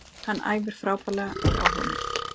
Hann æfir frábærlega og er áhugamikill.